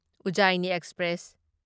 Ujjaini express